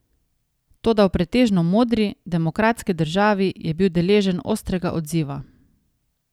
Toda v pretežno modri, demokratski državi je bil deležen ostrega odziva.